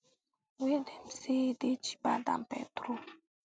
wey dem say dey cheaper dan petrol